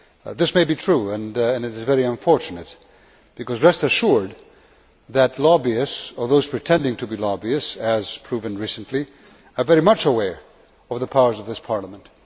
This may be true, and it is very unfortunate, because, rest assured, lobbyists or those pretending to be lobbyists, as proven recently are very much aware of the powers of this Parliament.